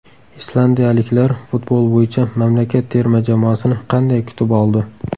Islandiyaliklar futbol bo‘yicha mamlakat terma jamoasini qanday kutib oldi?